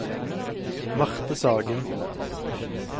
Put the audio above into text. Marthe Sagen